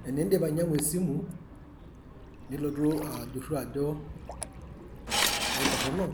Tenindip ainyangu esimu nilotu ajuru ajo eitorono